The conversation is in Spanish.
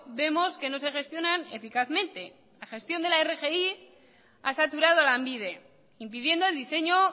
vemos que no se gestionan eficazmente la gestión de la rgi ha saturado a lanbide impidiendo el diseño